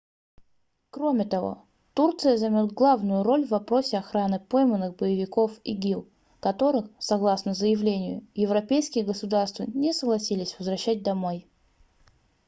кроме того турция займет главную роль в вопросе охраны пойманных боевиков игил которых согласно заявлению европейские государства не согласились возвращать домой